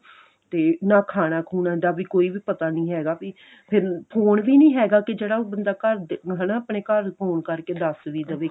ਤੇ ਨਾ ਖਾਣਾ ਖੂਣਾ ਦਾ ਵੀ ਕੋਈ ਵੀ ਪਤਾ ਨਹੀਂ ਹੈਗਾ ਵੀ ਫਿਰ phone ਵੀ ਨਹੀਂ ਹੈਗਾ ਕੀ ਜਿਹੜਾ ਉਹ ਬੰਦਾ ਘਰਦੇ ਹਨਾ ਆਪਣੇ ਘਰ ਫੋਨ ਕਰਕੇ ਦੱਸ ਵੀ ਦਵੇ